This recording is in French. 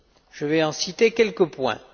Je vais en citer quelques points.